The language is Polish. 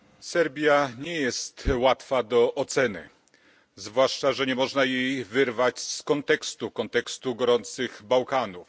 Serbia nie jest łatwa do oceny zwłaszcza, że nie można jej wyrwać z kontekstu gorących Bałkanów.